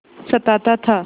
सताता था